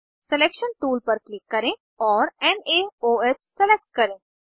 selection tool पर click करें और नाओह सेलेक्ट करें